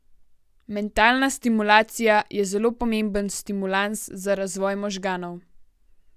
Mentalna stimulacija je zelo pomemben stimulans za razvoj možganov.